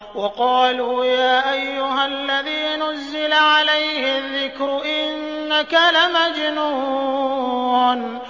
وَقَالُوا يَا أَيُّهَا الَّذِي نُزِّلَ عَلَيْهِ الذِّكْرُ إِنَّكَ لَمَجْنُونٌ